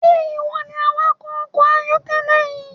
Ṣe iwọ ni awakọ ọkọ ayọkẹlẹ yii?